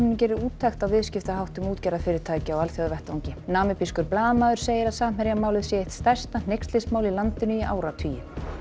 geri úttekt á viðskiptaháttum útgerðarfyrirtækja á alþjóðavettvangi blaðamaður segir að Samherjamálið sé eitt stærsta hneykslismál í landinu í áratugi